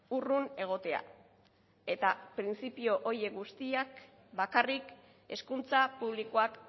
urrun egotea eta printzipio horiek guztiak bakarrik hezkuntza publikoak